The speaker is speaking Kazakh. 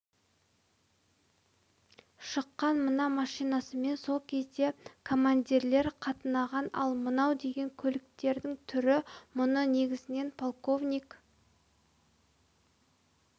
шыққан мына машинасымен сол кезде командирлер қатынаған ал мынау деген көліктің түрі мұны негізінен полковник